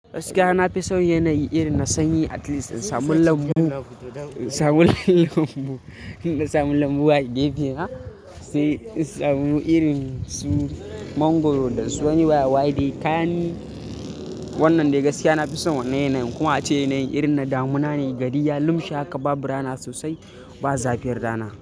Gaskiya na fi son yanayi irin na sanyi at least in samu lambu, in samu lambu, in samu lambu a gefena, sai in samu irin su mangwaro da su wani yawa waɗai. Kani wannan dai gaskiya na fi son wannan yanayi kuma ace yanayi irin na damuna ne gari ya, lumshe haka, babu rana sosai. Ba zafi rana.